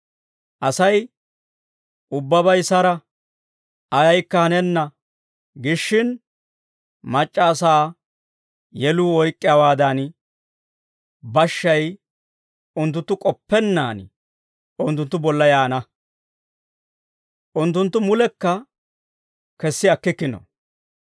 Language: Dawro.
Asay, «Ubbabay sara; ayaykka hanenna» giishshin, mac'c'a asaa yeluu oyk'k'iyaawaadan, bashshay unttunttu k'oppennaan unttunttu bolla yaana. Unttunttu mulekka kessi akkikkino.